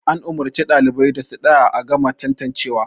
an umarci ɗalibai da su tsaya a gama tantancewa